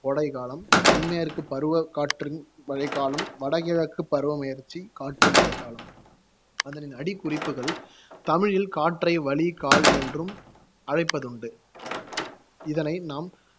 கோடைக்காலம், தென்மேற்கு பருவக் காற்று மழைக் காலம், வடகிழக்குப் பருவப்பெயற்சி காற்று மழைக் காலம் அதனின் அடிக்குறிப்புகள் தமிழில் காற்றை, வளி, கால் என்றும் அழைப்பதுண்டு இதனை நாம்